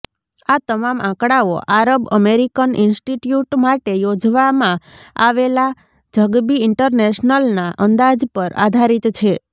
આ તમામ આંકડાઓ આરબ અમેરિકન ઇન્સ્ટિટ્યૂટ માટે યોજવામાં આવેલા ઝગબી ઇન્ટરનેશનલના અંદાજ પર આધારિત છે